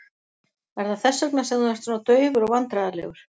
Er það þess vegna sem þú ert svona daufur og vandræðalegur?